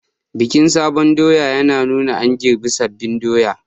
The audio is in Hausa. Bikin sabon doya yana nuna an girbe sabbin doya